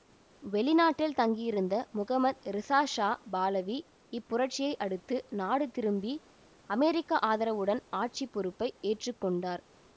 வெளிநாட்டில் தங்கியிருந்த Mohammad Reza Shah Pahlavi இப்புரட்சியை அடுத்து நாடு திரும்பி அமெரிக்க ஆதரவுடன் ஆட்சி பொறுப்பை ஏற்று கொண்டார்